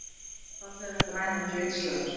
Fallegar grænar glitslæður!